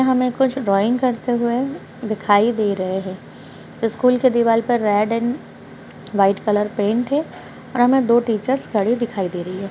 यहाँ हमें कुछ ड्राइंग करते हुए दिखाई दे रहे हैं स्कूल के दीवार पर red and white colour paint है और हमें दो टीचर्स खड़े दिखाई दे रही है।